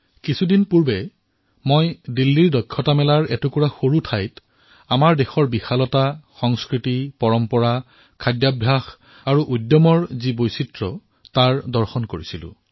কিছুদিন পূৰ্বে দিল্লীৰ হুনাৰ হাটত এডোখৰ সৰু স্থানত আমাৰ দেশৰ বিশালতা সংস্কৃতি পৰম্পৰা খাৱনশোৱন আৰু আবেগৰ বৈচিত্ৰতা দৰ্শন কৰাৰ সৌভাগ্য লাভ কৰিলো